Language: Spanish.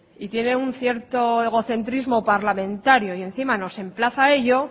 y tiene un cierto egocentrismo parlamentario y encima nos emplaza a ello